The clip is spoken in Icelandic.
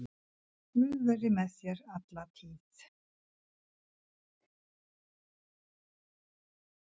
Guð veri með þér alla tíð.